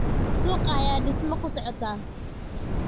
Suuqa ayaa dhisma ku socota.